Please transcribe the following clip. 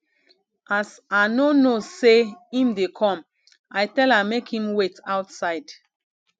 as i no know sey im dey come i tell am make im wait outside